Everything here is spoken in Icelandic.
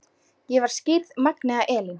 Ég var skírð Magnea Elín.